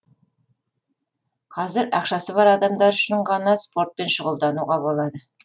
қазір ақшасы бар адамдар үшін ғана спортпен шұғылдануға болады